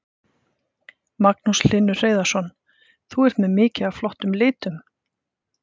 Magnús Hlynur Hreiðarsson: Þú ert með mikið af flottum litum?